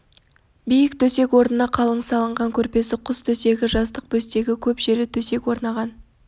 биік төсек орнына қалың салынған көрпесі құс төсегі жастық бөстегі көп жері төсек орнаған